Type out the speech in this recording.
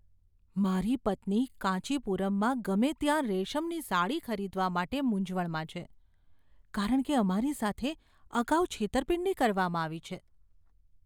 મારી પત્ની કાંચીપુરમમાં ગમે ત્યાં રેશમની સાડી ખરીદવા માટે મૂંઝવણમાં છે કારણ કે અમારી સાથે અગાઉ છેતરપિંડી કરવામાં આવી છે.